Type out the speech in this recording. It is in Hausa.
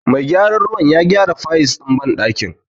Mai gyaran ruwan ya gyara fayis ɗin banɗakin.